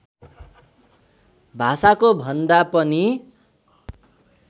भाषाको भन्दा पनि